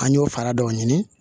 An y'o fara dɔw ɲini